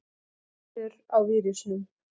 Vinnur á vírusum.